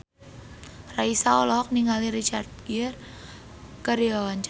Raisa olohok ningali Richard Gere keur diwawancara